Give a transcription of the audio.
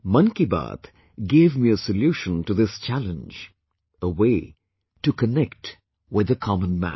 'Mann Ki Baat' gave me a solution to this challenge, a way to connect with the common man